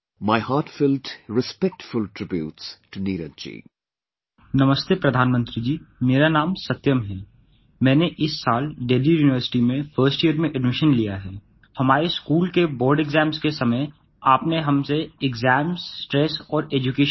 My heartfelt respectful tributes to Neeraj ji